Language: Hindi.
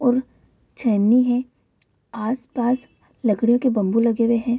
और छेनी है आस पास लकड़ी के बम्बू लगे हुए हैं ।